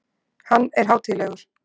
Hann er hátíðlegur.